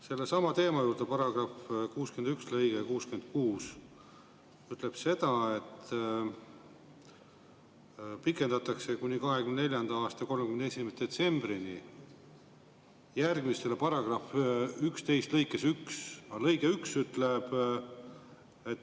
Sellesama teema juurde: § 61 lõige 66 ütleb seda, et pikendatakse kuni 2024. aasta 31. detsembrini järgmistele § 11 lõikes 1.